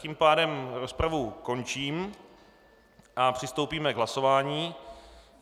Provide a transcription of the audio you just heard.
Tím pádem rozpravu končím a přistoupíme k hlasování.